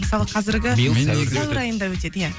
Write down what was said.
мысалы қазіргі сәуір айында өтеді иә